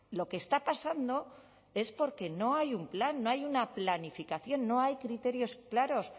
lo que está pasando es porque no hay un plan no hay una planificación no hay criterios claros